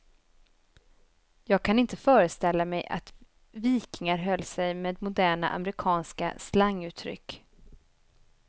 Jag kan inte föreställa mig att vikingar höll sig med moderna amerikanska slanguttryck.